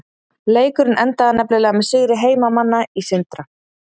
Leikurinn endaði nefnilega með sigri heimamanna í Sindra.